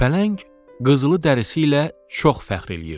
Pələng qızılı dərisi ilə çox fəxr eləyirdi.